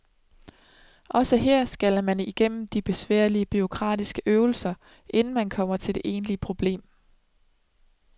Også her skal man igennem de besværlige bureaukratiske øvelser, inden man kommer til det egentlige problem.